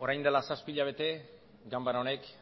orain dela zazpi hilabete ganbara honek